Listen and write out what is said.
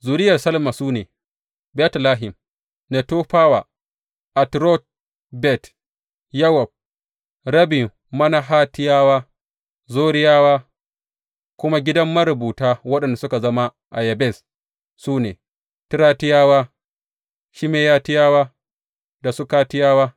Zuriyar Salma su ne, Betlehem, Netofawa, Atrot Bet Yowab, rabin Manahatiyawa, Zoriyawa, kuma gidan marubuta waɗanda suke zama a Yabez su ne, Tiratiyawa, Shimeyatiyawa da Sukatiyawa.